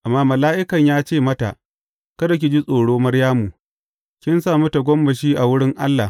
Amma mala’ikan ya ce mata, Kada ki ji tsoro, Maryamu, kin sami tagomashi a wurin Allah.